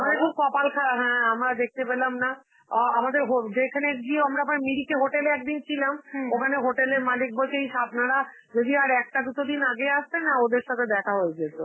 আমাদের খুব কপাল খারাপ, হ্যাঁ আমরা দেখতে পেলাম না, অ আমাদের হ~ যেখানে গিয়েও আমরা ওখানে মিরিকে hotel এ একদিন ছিলাম, ওখানে hotel এর মালিক বলছে, ইস আপনারা যদি আর একটা দুটো দিন আগে আসতেন না, ওদের সাথে দেখা হয়ে যেত